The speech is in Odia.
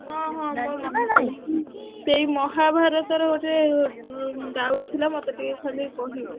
ହଁ ହଁ ଜାଣିଛୁ ନାଁ ନାହିଁ ସେଇ ମହା ଭାରତ ର ଗୋଟେ doubt ଥିଲା ମତେ ଟିକେ ଖାଲି କହିବୁ।